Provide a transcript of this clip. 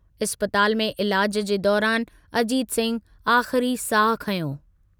इस्पताल में इलाजु जे दौरानि अजीत सिंह आख़िरी साहु खंयो।